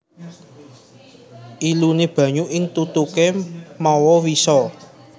Iluné banyu ing tutuké mawa wisa